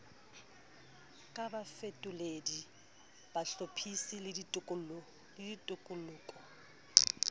ka bafetoledi bahlophisi le ditoloko